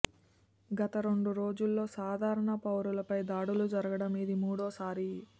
గత రెండు రోజుల్లో సాధారణ పౌరులపై దాడులు జరగడం ఇది మూడోసారి